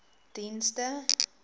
dienste